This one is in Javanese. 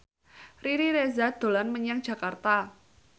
Riri Reza dolan menyang Jakarta